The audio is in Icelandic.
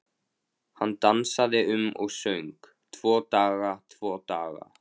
Hann dansaði um og söng: Tvo daga, tvo daga